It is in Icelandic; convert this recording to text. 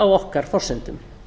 á okkar forsendum